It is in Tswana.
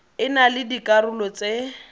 e na le dikarolo tse